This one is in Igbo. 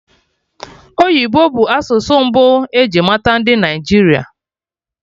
Oyibo bụ asụsụ mbụ eji mata ndị Naịjirịa